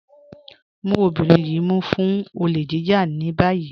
Mú ọbìnrin yìí mú fún òlè jíjà ní bayí.